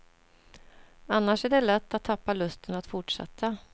Annars är det lätt att tappa lusten att fortsätta.